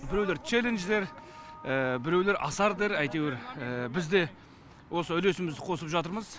біреулер челлендж дер біреулер асар дер әйтеуір бізде осы үлесімізді қосып жатырмыз